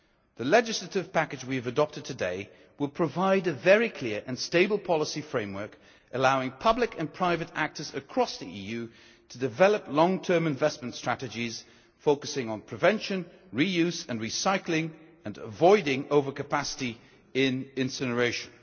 The legislative package we have adopted today will provide a very clear and stable policy framework allowing public and private actors across the EU to develop long term investment strategies focusing on prevention, reuse and recycling, and avoiding overcapacity in incineration.